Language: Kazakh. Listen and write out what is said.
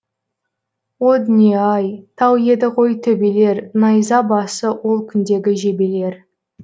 о дүние ай тау еді ғой төбелер найза басы ол күндегі жебелер